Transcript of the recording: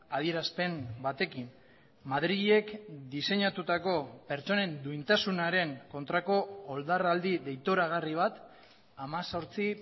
adierazpen batekin madrilek diseinatutako pertsonen duintasunaren kontrako oldarraldi deitoragarri bat hemezortzi